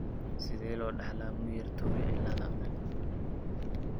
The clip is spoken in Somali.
Sidee loo dhaxlaa Muir Torre cilaada?